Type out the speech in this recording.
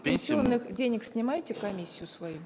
с пенсионных денег снимаете комиссию свою